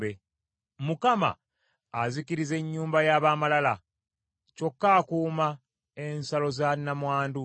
Mukama azikiriza ennyumba y’ab’amalala, kyokka akuuma ensalo za nnamwandu.